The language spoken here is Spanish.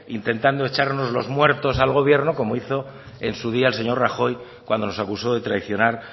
intentando echarnos los muertos al gobierno como hizo en su día el señor rajoy cuando nos acusó de traicionar